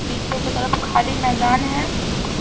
पीछे की तरफ खाली मैदान है।